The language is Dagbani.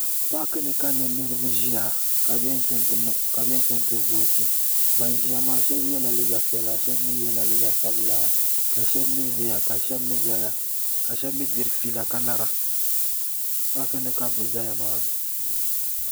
Paaki ni ka niriba ʒiya ka bi yɛn chaŋ ti vooti ban ʒiya maa shɛba yɛla liiga piɛla shɛba mi yɛla liiga sabila ka shɛba mi ʒiya ka shɛba mi zaya ka shɛba mi diri fiila ka lara paaki ni ka bi zaya maa.